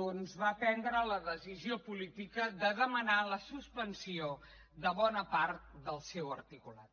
doncs va prendre la decisió política de demanar la suspensió de bona part del seu articulat